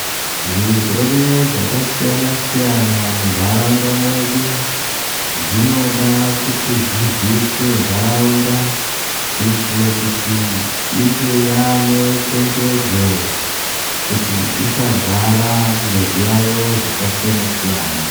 Zvirwere zvakasiyana-siyana muntaraunda mwedu, zvinoda kuti zviziiswe ntaraunda kuitire kuti inge yaane chenjedzo, kuti isarwara ngezviyaiyo zvakasiyana-siyana.